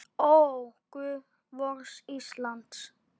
Ó, guð vors lands!